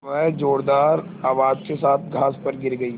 वह ज़ोरदार आवाज़ के साथ घास पर गिर गई